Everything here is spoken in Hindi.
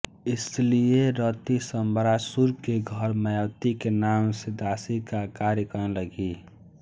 इसीलिये रति शंबरासुर के घर मायावती के नाम से दासी का कार्य करने लगी